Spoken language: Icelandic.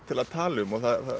til að tala um